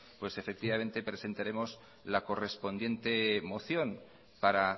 presentaremos la correspondiente moción para